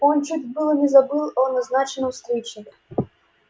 он чуть было не забыл о назначенной встрече